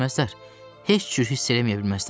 Heç cür hiss eləməyə bilməzlər!